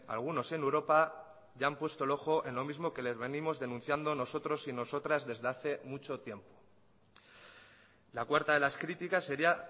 algunos en europa ya han puesto el ojo en lo mismo que les venimos denunciando nosotros y nosotras desde hace mucho tiempo la cuarta de las críticas sería